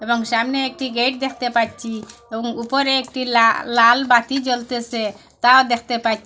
এবং সামনে একটি গেট দেখতে পাচ্ছি এবং উপরে একটি লা-লাল বাতি জ্বলতেছে তাও দেখতে পাচ্ছি।